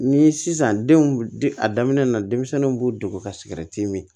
Ni sisan denw de a daminɛ na denmisɛnninw b'u degun ka sikɛriti min